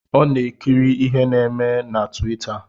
Ọ na-ekiri ihe na-eme na tuwita